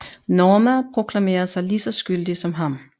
Norma proklamerer sig lige så skyldig som ham